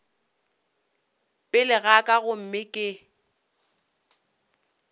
pele ga ka gomme ke